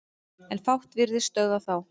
En fátt virðist stöðva þá.